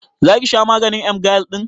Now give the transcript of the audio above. Zaki sha maganin emgyl ɗin?